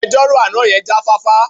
Agbejọ́rò àná yẹn jáfáfá.